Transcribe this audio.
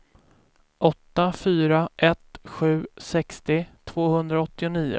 åtta fyra ett sju sextio tvåhundraåttionio